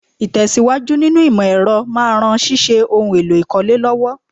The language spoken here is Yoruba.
Ìtẹ̀síwájú nínú ìmọ̀ ẹ̀rọ máa ran ṣíṣe ohun èlò ìkọ́lé lọ́wọ́